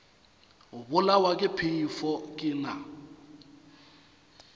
bolawa ke phefo ke na